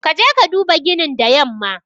Ka je ka duba ginin the yamma.